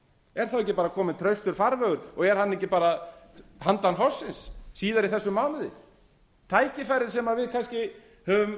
er þá ekki bara kominn traustur farvegur og er hann ekki bara handan hrunsins síðar í þessum mánuði tækifærið sem við kannski höfum